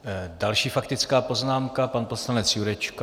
Další faktická poznámka - pan poslanec Jurečka.